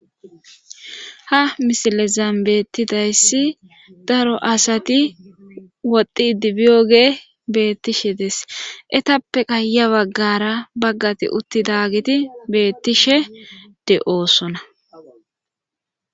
Hamisilezam bettidayssi daro asati woddi dibiyoge beettishe desetappe qaaya baggara baggati uttidagiti bettishe de'oosona.